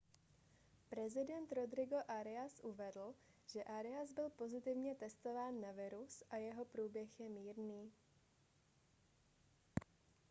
prezident rodrigo arias uvedl že arias byl pozitivně testován na virus a jeho průběh je mírný